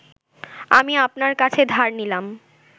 আমি আপনার কাছে ধার নিলাম